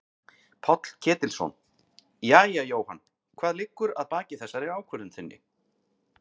Páll Ketilsson: Jæja Jóhann hvað liggur að baki þessari ákvörðun þinni?